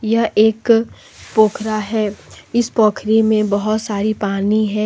यह एक पोखरा है इस पोखरी में बहोत सारी पानी है।